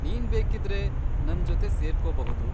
ನೀನ್ ಬೇಕಿದ್ರೆ ನನ್ಜೊತೆ ಸೇರ್ಕೋಬಹುದು.